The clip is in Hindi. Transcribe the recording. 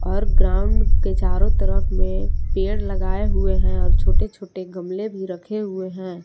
और ग्राउंड के चारों तरफ में पेड़ लगाए हुए हैं और छोटे छोटे गमले भी रखे हुए हैं।